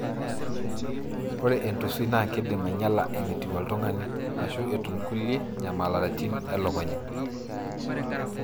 ore entusui na kindim anyiala enetiu oltungani, ashu etu kulie nyamaritin elukunya.